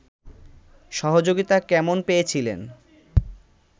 সহযোগিতা কেমন পেয়েছিলেন